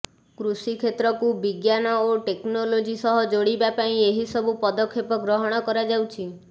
କୃଷି କ୍ଷେତ୍ରକୁ ବିଜ୍ଞାନ ଓ ଟେକ୍ନୋଲଜି ସହ ଯୋଡିବା ପାଇଁ ଏହିସବୁ ପଦକ୍ଷେପ ଗ୍ରହଣ କରାଯାଉଛି